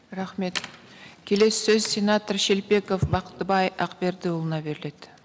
рахмет келесі сөз сенатор шелпеков бақтыбай ақбердіұлына беріледі